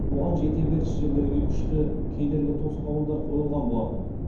оған жете беріс жерлерге күшті кедергі тосқауылдар қойылған болатын